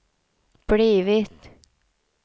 blivit